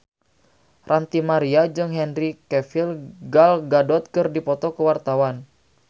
Ranty Maria jeung Henry Cavill Gal Gadot keur dipoto ku wartawan